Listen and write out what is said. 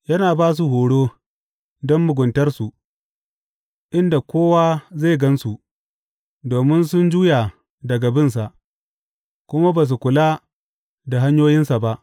Yana ba su horo, don muguntarsu, inda kowa zai gan su, domin sun juya daga binsa, kuma ba su kula da hanyoyinsa ba.